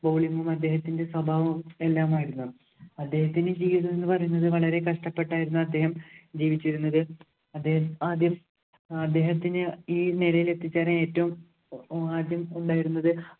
bowling ഉം അദ്ദേഹത്തിന്‍റെ സ്വഭാവം എല്ലാമായിരുന്നു. അദ്ദേഹത്തിന്‍റെ ജീവിതം എന്ന് പറയുന്നത് വളരെ കഷ്ടപ്പെട്ടായിരുന്നു അദ്ദേഹം ജീവിച്ചിരുന്നത്. അദ്ദേഹം ആദ്യം അദ്ദേഹത്തിനെ ഈ നിലയില്‍ എത്തിച്ചവരില്‍ ഏറ്റവും ആദ്യം ഉണ്ടായിരുന്നത്